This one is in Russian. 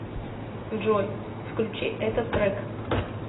джой включи этот трек